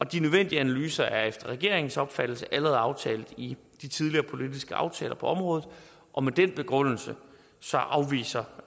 de nødvendige analyser er efter regeringens opfattelse allerede aftalt i de tidligere politiske aftaler på området og med den begrundelse afviser